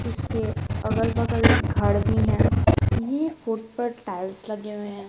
इसके अगल-बगल घर भी हैं ये फूट पर टाइल्स लगे हुए हैं।